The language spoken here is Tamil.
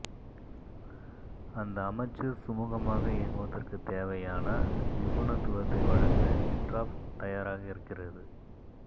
அந்த அமைச்சு சுமூகமாக இயங்குவதற்குத் தேவையான நிபுனத்துவத்தை வழங்க ஹிண்ட்ராப் தயாராக இருக்கிறது